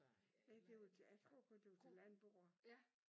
Ja det var til jeg tror kun det var til landboere